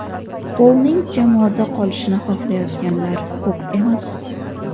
Polning jamoada qolishini xohlayotganlar ko‘p emas.